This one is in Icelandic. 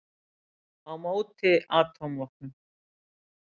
Á móti atómvopnum!